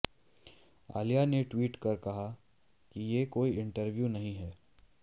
अलिया ने ट्वीट कर कहा ये कोई इंटरव्यू नहीं है